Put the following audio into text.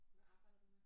Hvad arbejder du med?